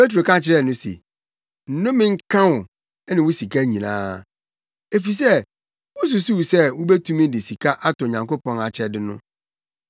Petro ka kyerɛɛ no se, “Nnome nka wo ne wo sika nyinaa, efisɛ wususuw sɛ wubetumi de sika atɔ Onyankopɔn akyɛde no.